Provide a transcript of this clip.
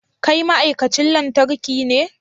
Kai ma'aikacin lantarki ne?